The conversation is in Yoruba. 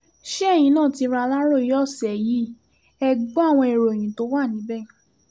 ṣé ẹ̀yin náà ti ra aláròye ọ̀sẹ̀ yìí e gbọ́ àwọn ìròyìn tó wà níbẹ̀